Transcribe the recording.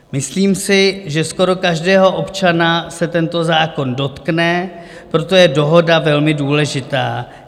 Myslím si, že skoro každého občana se tento zákon dotkne, proto je dohoda velmi důležitá.